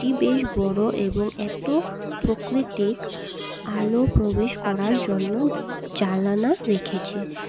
এটি বেশ বড় এবং এত প্রকৃতির আলো প্রবেশ করার জন্য জালানা রেখেছে।